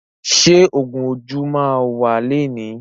Ṣé ògún ojú máa wà lẹni?